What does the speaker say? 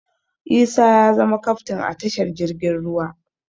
Isa ya zama kaftin a tashar jirgin ruwa